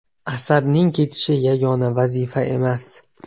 Asadning ketishi yagona vazifa emas.